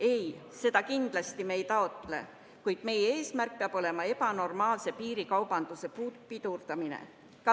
Ei, seda me kindlasti ei taotle, kuid meie eesmärk peab olema ebanormaalse piirikaubanduse pidurdamine.